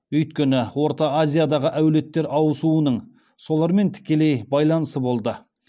өйткені орта азиядағы әулеттер ауысуының солармен тікелей байланысы болды